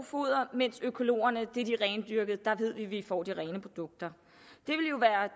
foder mens økologerne er de rendyrkede der ved vi vi får de rene produkter